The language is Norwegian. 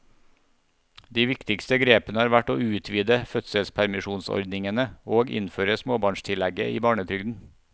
De viktigste grepene har vært å utvide fødselspermisjonsordningene og innføre småbarnstillegget i barnetrygden.